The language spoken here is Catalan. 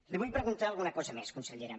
li vull preguntar alguna cosa més consellera